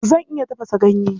Zan iya tafasa ganye.